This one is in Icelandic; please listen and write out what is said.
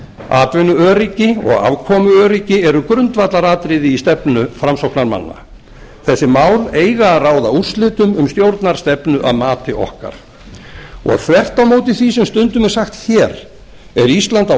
atvinnuöryggi og afkomuöryggi eru grundvallaratriði í stefnu framsóknarmanna þessi mál eiga að ráða úrslitum um stjórnarstefnu að mati okkar þvert á móti því sem stundum er sagt hér er ísland á